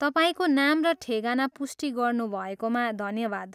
तपाईँको नाम र ठेगाना पुष्टि गर्नुभएकोमा धन्यवाद।